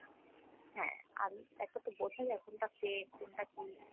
হ্যাঁ, আমি এখন তো বুঝা যায় কোনটা fake কোনটা কী।